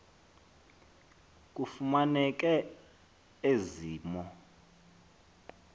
kufumaneke ezi mo